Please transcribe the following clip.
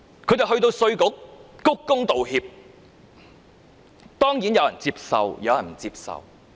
他們到稅務局鞠躬道歉，當然有人接受有人不接受。